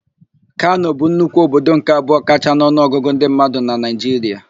Kano bụ nnukwu obodo nke abụọ kachaa n'ọnụọgụ ndị mmadụ na Naịjiria.